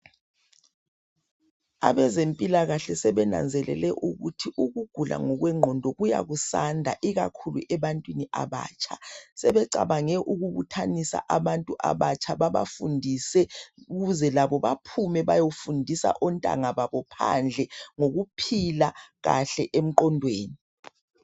Abezempilakahle sebenanzelele ukuthi ukugula ngokwengqondo kuya kusanda ikakhulu ebantwini abatsha. Sebecabange ukubuthanisa abantu abatsha babafundise ukuze labo baphume bayofundisa ontanga babo phandle ngokuphila kahle engqondweni.